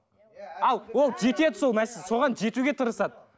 ал ол жетеді сол соған жетуге тырысады